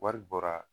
Wari bɔra